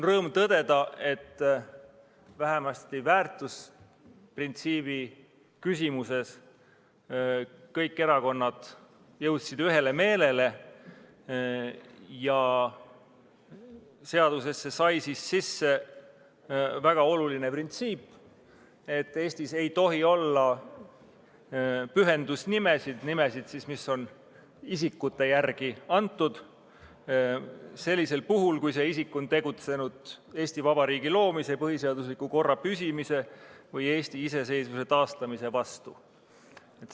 Rõõm on tõdeda, et vähemasti väärtusprintsiibi küsimuses jõudsid kõik erakonnad ühele meelele ja seadusesse sai sisse väga oluline printsiip: Eestis ei tohi olla pühendusnimesid – nimesid, mis on antud isikute järgi – sellisel puhul, kui see isik on tegutsenud Eesti Vabariigi loomise, põhiseadusliku korra püsimise või Eesti iseseisvuse taastamise vastu.